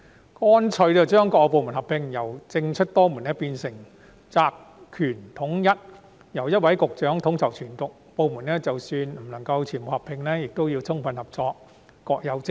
我建議乾脆將各部門合併，由政出多門變成責權統一，由一位局長統籌全局，即使不能夠把所有部門合併，各個部門也要充分合作，各有職責。